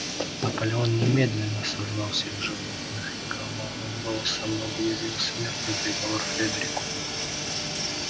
наполеон немедленно созвал всех животных и громовым голосом объявил смертный приговор фредерику